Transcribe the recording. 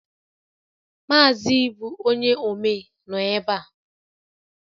Mazị Ibu onye omee nọ ebe a